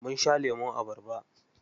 Munsha lemun abarba.